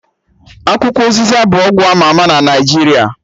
Akwukwo ụzịza bụ ọgwụ ama ama na Naijiria